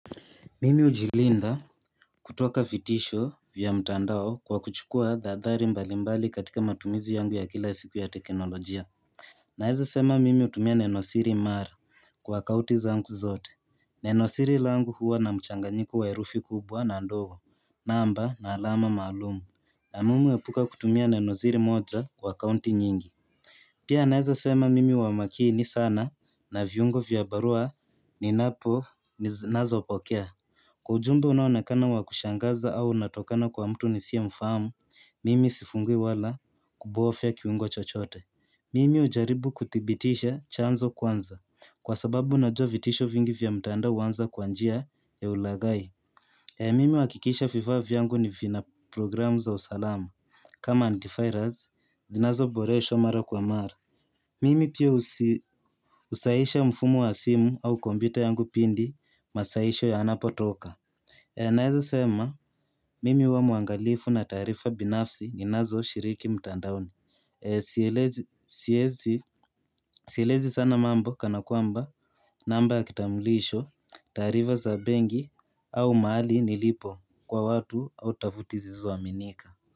Mimi ujilinda kutoka vitisho vya mtandao kwa kuchukua tahadhari mbalimbali katika matumizi yangu ya kila siku ya teknolojia Naeza sema mimi utumia nenosiri mara kwa kauti zangu zote nenosiri langu huwa na mchanganyiko wa erufi kubwa na ndogo namba na alama maalumu. Na mimi epuka kutumia nenosiri moja kwa kaunti nyingi Pia naeza sema mimi huwa makini sana na viungo vyabarua ninazopokea. Kwa ujumbe unaonekana wakushangaza au unatokana kwa mtu ni siyemfamu, mimi sifungui wala kubofya kiungo chochote. Mimi hujaribu kuthibitisha chanzo kwanza kwa sababu unajua vitisho vingi vya mtandao uanza kwa njia ya ulagai. Mimi uahakikisha vifaa vyangu vina programu za usalamu. Kama antivirus, zinazo boreshwa mara kwa mara. Mimi pia usahisha mfumo wa simu au kompyuta yangu pindi masahisho ya anapo toka. Naeza sema, mimi uwa mwangalifu na tarifa binafsi ninazo shiriki mtandaoni. Sielezi sana mambo kana kwamba namba ya kitamulisho, taarifa za benki au mahali nilipo kwa watu au tuvuti zisizo aminika.